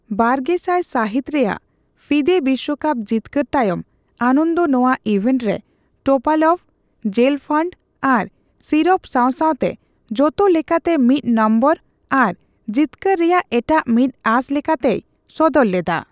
ᱵᱟᱨᱜᱮᱥᱟᱭ ᱥᱟᱦᱤᱛ ᱨᱮᱭᱟᱜ ᱯᱷᱤᱫᱮ ᱵᱤᱥᱣᱚᱠᱟᱯ ᱡᱤᱛᱠᱟᱹᱨ ᱛᱟᱭᱚᱢ, ᱟᱱᱚᱱᱫᱚ ᱱᱚᱣᱟ ᱤᱵᱷᱮᱱᱴ ᱨᱮ ᱴᱳᱯᱟᱞᱚᱵᱷ, ᱡᱮᱞᱯᱷᱟᱱᱰ ᱟᱨ ᱥᱤᱨᱚᱵᱷ ᱥᱟᱣᱼᱥᱟᱣᱛᱮ ᱡᱚᱛᱚᱞᱮᱠᱟᱛᱮ ᱢᱤᱛ ᱱᱚᱢᱵᱚᱨ ᱟᱨ ᱡᱤᱛᱠᱟᱹᱨ ᱨᱮᱭᱟᱜ ᱮᱴᱟᱜ ᱢᱤᱫ ᱟᱸᱥ ᱞᱮᱠᱟᱛᱮᱭ ᱥᱚᱫᱚᱨ ᱞᱮᱫᱟ ᱾